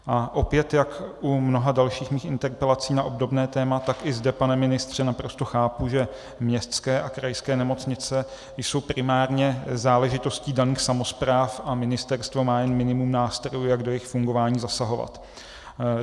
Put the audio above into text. A opět, jak u mnoha dalších mých interpelací na obdobné téma, tak i zde, pane ministře, naprosto chápu, že městské a krajské nemocnice jsou primárně záležitostí daných samospráv a ministerstvo má jen minimum nástrojů, jak do jejich fungování zasahovat.